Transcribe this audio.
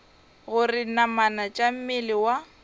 gore namana tša mmele wa